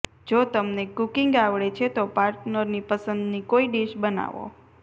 જો તમને કૂકિંગ આવડે છે તો પાર્ટનરની પસંદની કોઈ ડીશ બનાવો